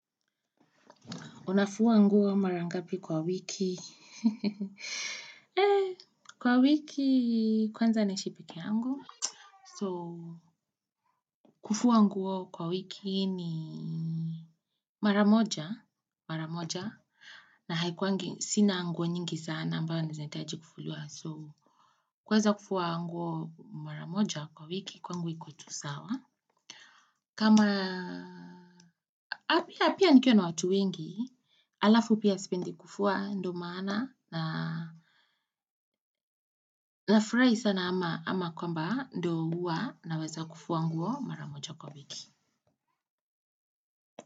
Unafua nguo mara ngapi kwa wiki? Eh, kwa wiki, kwanza naishi peke yangu. So, kufua nguo kwa wiki ni maramoja, maramoja, na haikuwangi, sina nguo nyingi sana ambayo na zinahitaji kufuliwa. So, kuweza kufua nguo maramoja kwa wiki, kwa nguwa iko tu sawa. Kama pia pia nikiwa na watu wengi, alafu pia sipendi kufua ndo maana na nafurahi sana ama kwamba ndo huwa naweza kufua nguo maramoja kwa wiki.